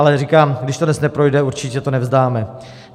Ale říkám, když to dnes neprojde, určitě to nevzdáme.